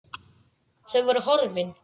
Þau voru horfin.